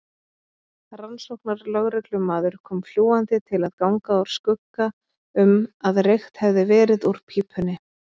Rannsóknarlögreglumaður kom fljúgandi til að ganga úr skugga um að reykt hefði verið úr pípunni.